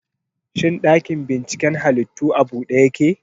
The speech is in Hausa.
Shin ɗakin binciken halittu a bude yake?